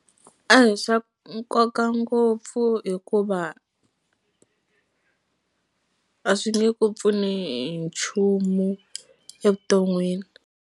A hi swa nkoka ngopfu hikuva a swi nge ku pfuni hi nchumu evuton'wini.